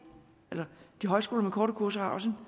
de højskoler med korte kurser også